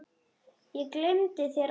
Ég gleymi þér aldrei.